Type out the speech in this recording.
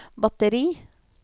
batteri